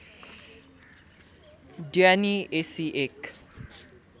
ड्यानी एशी एक